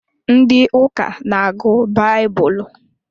Ndị ụka n'agụ baibulu